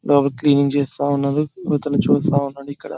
cleaning చేస్తూ ఉన్నారు ఇవతల చూస్తా ఉన్నాడు ఇక్కడ --